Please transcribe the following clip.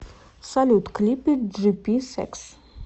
салют клипы джипи сэкс